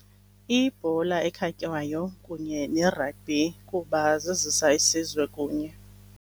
Ibhola ekhatywayo kunye ne-rugby kuba zizisa isizwe kunye.